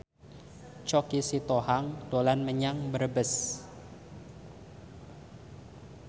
Choky Sitohang dolan menyang Brebes